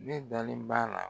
Ne dalen b'a la